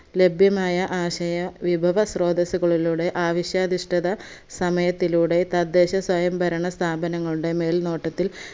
ലഭ്യമായ ആശയ വിപവസ്രോദസ്സുകളിലൂടെ ആവിശ്യാദിഷ്‌ടത സമയത്തിലൂടെ തദ്ദേശ സ്വയംഭരണ സ്ഥാപങ്ങളുടെ മേൽനോട്ടത്തിൽ